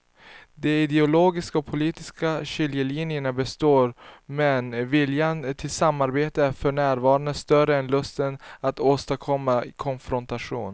De ideologiska och politiska skiljelinjerna består men viljan till samarbete är för närvarande större än lusten att åstadkomma konfrontation.